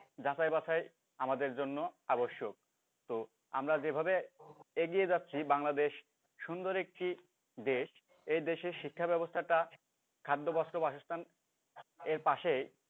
যাচাই বাচাই আমাদের জন্য আবশ্যক তো আমরা যেভাবে এগিয়ে যাচ্ছি বাংলাদেশ সুন্দর একটি দেশ এই দেশের শিক্ষা ব্যাবস্থাটা খাদ্য বস্ত্র বাসস্থান এর পাশেই।